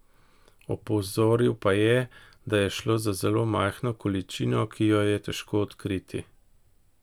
Opozoril pa je, da je šlo za zelo majhno količino, ki jo je težko odkriti.